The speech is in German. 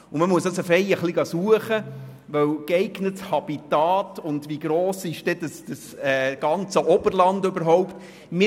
Man muss tatsächlich etwas danach suchen im Zusammenhang mit dem «geeigneten Habitat» und der Frage, wie gross denn das Oberland überhaupt sei.